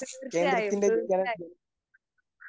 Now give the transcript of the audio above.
തീർച്ചയായും തീർച്ചയായും.